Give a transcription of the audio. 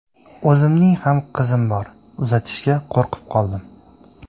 O‘zimning ham qizim bor, uzatishga qo‘rqib qoldim”.